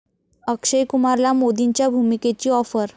अक्षय कुमारला मोदींच्या भूमिकेची आॅफर